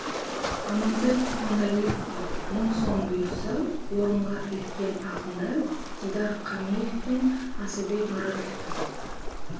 амантай кутманалиевқа мың сом бұйырса орынға іліккен ақындар дидар камиев пен асылбек маратов та